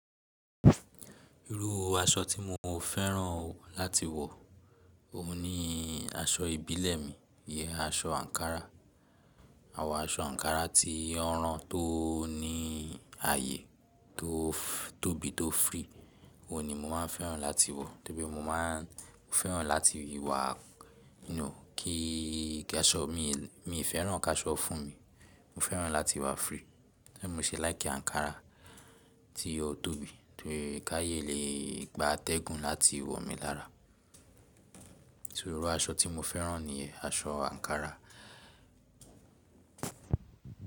Irú aṣọ tí mo fẹ́ràn láti wọ òun ni aṣọ ìbílẹ̀ mi, iyen aṣọ àǹkárá. Àwọn aṣọ àǹkárá ti won ran tó ní aàyè tó tóbi tó free, òun ni mo máa ń fẹ́ràn láti wọ, torí pé mo máa ń fẹ́ràn láti wà, you know kí ki áṣọ mii fẹ́ràn ki aṣọ fún mi. Mo fẹ́ràn láti wà free Ni mo ṣe like àǹkárá tí o tóbi torí ki aaye lè gba atẹ́gùn láti wọ mi lára. Torí irú aṣọ tí mo fẹ́ràn ni aṣọ àǹkárá.